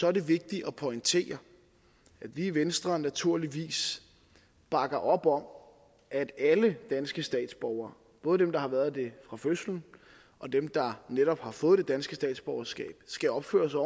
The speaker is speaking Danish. er det vigtigt at pointere at vi i venstre naturligvis bakker op om at alle danske statsborgere både dem der har været det fra fødslen og dem der netop har fået det danske statsborgerskab skal opføre sig